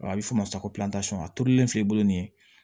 A bɛ fɔ o ma ko a turulilen filɛ i bolo nin